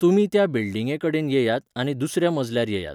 तुमी त्या बिल्डिंगे कडेन येयात आनी दुसऱ्या मजल्यार येयात.